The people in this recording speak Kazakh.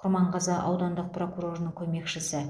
құрманғазы аудандық прокурорының көмекшісі